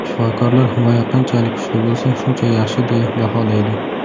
Shifokorlar himoya qanchalik kuchli bo‘lsa, shuncha yaxshi, deya baholaydi.